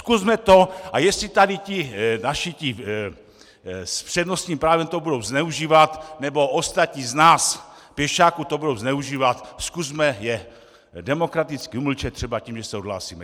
Zkusme to, a jestli tady ti naši s přednostním právem to budou zneužívat nebo ostatní z nás pěšáků to budou zneužívat, zkusme je demokraticky umlčet třeba tím, že se odhlásíme.